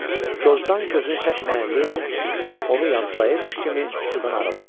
Corcdan gözünü çəkməyən Lenni onu yamsılayırmış kimi sudan aralandı.